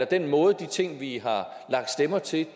den måde de ting vi har lagt stemmer til